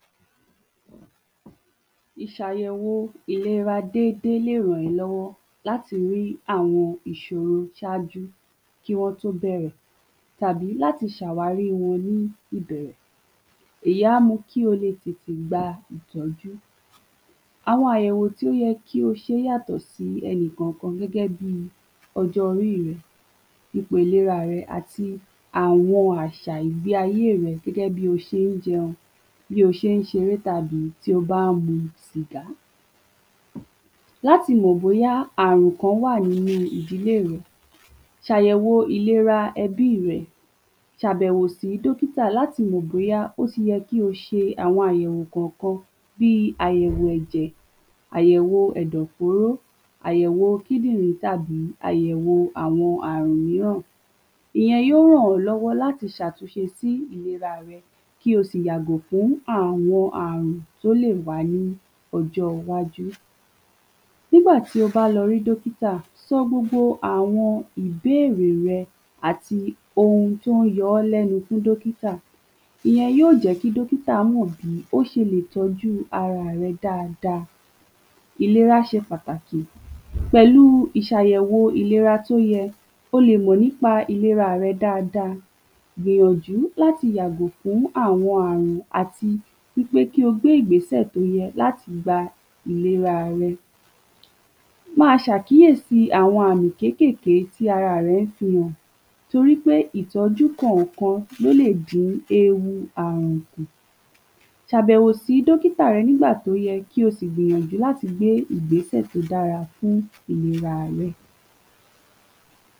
ikọ́ jẹ́ ọ̀nà tí ara má n gba láti gbe ohunkóhun tí o bá n da èmi dúró kúrò nígbà tí a bá n wúkọ́, afẹ́fẹ́ jáde kúrò nínú ẹ̀dọ̀fóró ní kía kía pẹ̀lú agbára afẹ́fẹ́ yí má n jáde pẹ̀lú agbára tí o pọ̀ gan tí yó sì mú kí àwọn ikan bí eruku, tàbi tí ó wọnu ona èémí lè jáde ikọ́ jẹ́ pàtàkì fún ara nítorih ó n ṣe ìrànwọ́ láti ṣètò èémi kí a lè símí dáadáa. Kí ikọ́ tó wá ye, ọ̀pọ̀lọpọ̀ ǹkan gbódọ̀ wáyé bí àpẹ́rẹ́ tí omi bá wọ́ ọ̀nà èémí, ara yó gbìyànjú láti le jádè, akọ́kọ́ àwọ̃ okù n ohùn yío ṣí si kí afẹ́fẹ́ tó pọ̀ kí o lè wọ́ inú ẹ̀dọ̀ Lẹ́yìn náà ẹ̀yà tí ó da bòbò ọ̀nà èémí yío pa ọ̀nà náà kó má ba jẹ́ ki ohunkóhun wo inú ẹ̀dọ̀ Kí ni igbẹ́sẹ̀ to kàn, iṣan inú àti àyà má n lo agbára kí afẹ́fẹ́ rtó wà nínu àyà kó jáde pẹ̀lú ìyára afẹ́fẹ yí gbìnyànju láti yọ́ ohún tó n dá èémí lóhùn bí egun tàbí eruku, nígbà tí afẹ́fẹ́ bá jáde, ó lè mu kí ẹnú gbẹ́, ó sì mán dún bíì ìgbò gíga ní kẹ́hìn ikọ́ jẹ́ ọ̀nà tí ara fí n yọ ǹkan tí o lè dá èémí dúró, ó ṣe pàtàkì nítori wípe ó n dábòbò èémi, sí bẹ tí enìyàn bá n wúkọ́ fún ìgbà pípẹ́ tàbí tí o bá n ṣe lẹ̀ lemọ́ lemọ́ ó yẹ́ kí o lọ ṣẹ àbẹ̀wò sí dókítà kí wọn lè ṣàwàrí ǹkan tó lè fàá kí wọn si lè ṣe ìtọ́jú tóyẹ